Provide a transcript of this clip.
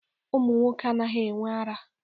Ụmụ nwoke anaghị-enwe ara.